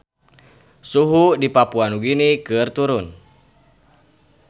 Suhu di Papua Nugini keur turun